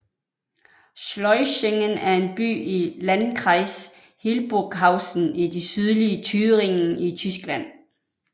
Schleusingen er en by i Landkreis Hildburghausen i det sydlige Thüringen i Tyskland